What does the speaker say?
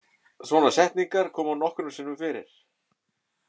Svona setningar koma nokkrum sinnum fyrir.